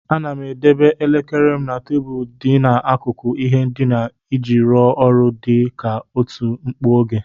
Ana m edebe elekere m na tebụl dị n'akụkụ ihe ndina iji rụọ ọrụ dị ka oti mkpu oge.